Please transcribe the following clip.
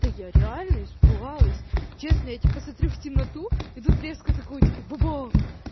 та я реально испугалась честно я типа смотрю в темноту и тут резко такого типа ба-бах